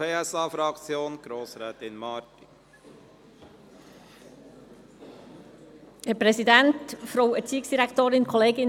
Als Erste spricht Grossrätin Marti für die SP-JUSO-PSA-Fraktion.